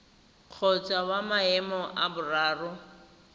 kgotsa wa maemo a boraro